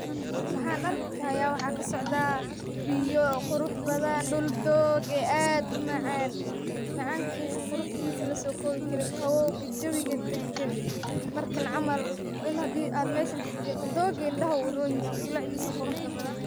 Waxan arkaya waxa kasocda biyo qurux badan dhul doog ah ad u macan macankiisa laso kowi karin qawowga jiro jawi dagan markan camal waina wa meshan taagtid dooga indha wu uroyaha bilacdiisa quruxda badan.